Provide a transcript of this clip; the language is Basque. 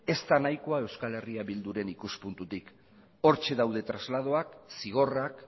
ez da nahikoa euskal herria bilduren ikuspuntutik hortxe daude trasladoak zigorrak